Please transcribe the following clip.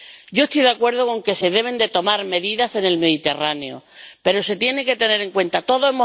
Yo estoy de acuerdo con que se deben tomar medidas en el Mediterráneo, pero se tiene que tener en cuenta todo.